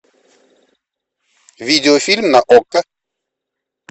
видеофильм на окко